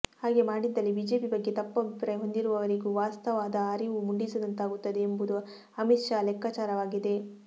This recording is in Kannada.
ಹಾಗೆ ಮಾಡಿದಲ್ಲಿ ಬಿಜೆಪಿ ಬಗ್ಗೆ ತಪ್ಪು ಅಭಿಪ್ರಾಯ ಹೊಂದಿರುವವರಿಗೂ ವಾಸ್ತದ ಅರಿವು ಮೂಡಿಸಿದಂತಾಗುತ್ತದೆ ಎಂಬುದು ಅಮಿತ್ ಶಾ ಲೆಕ್ಕಾಚಾರವಾಗಿದೆ